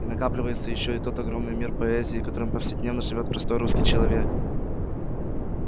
и накапливается ещё и тот огромный мир поэзии которым повседневно живёт простой русский человек